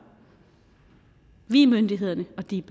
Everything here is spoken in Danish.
vi er myndighederne og de